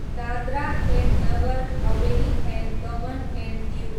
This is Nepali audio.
Dadra and Nagar Haveli and Daman and Diu